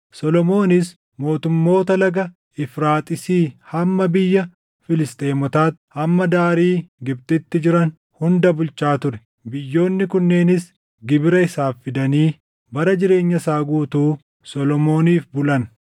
Solomoonis mootummoota Laga Efraaxiisii hamma biyya Filisxeemotaatti, hamma daarii Gibxitti jiran hunda bulchaa ture. Biyyoonni kunneenis gibira isaaf fidanii bara jireenya isaa guutuu Solomooniif bulan.